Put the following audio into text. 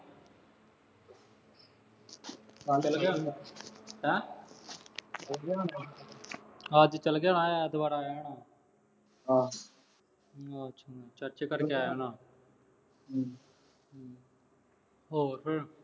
ਅੱਜ ਚਲ ਗਿਆ ਹੋਊਗਾ, ਹੈਂ। ਵਧੀਆ ਹੋਣਾ। ਅੱਜ ਚਲ ਗਿਆ ਹੋਣਾ ਐਤਵਾਰ ਆਇਆ ਹੋਣਾ। ਹਾਂ ਅਹ ਚਾਚੇ ਘਰ ਗਿਆ ਹੋਣਾ। ਹਮ ਹੋਰ ਫੇਰ।